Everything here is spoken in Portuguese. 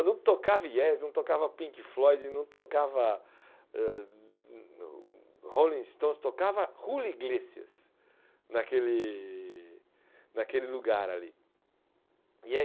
Não tocava Yes, não tocava Pink Floyd, não tocava ãh Rolling Stones, tocava Hula Iglesias naquele naquele lugar ali. E é